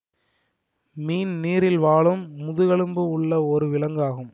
மீன் நீரில் வாழும் முதுகெலும்பு உள்ள ஒரு விலங்கு ஆகும்